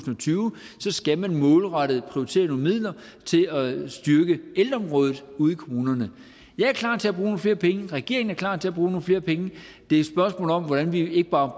tyve skal man målrettet prioritere nogle midler til at styrke ældreområdet ude i kommunerne jeg er klar til at bruge nogle flere penge regeringen er klar til at bruge nogle flere penge det er spørgsmålet om hvordan vi ikke bare